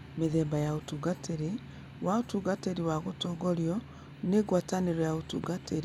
Mĩthemba ya Ũtungatĩri wa Ũtungatĩri wa Gũtongorio nĩ Ngwatanĩro ya Ũtungatĩri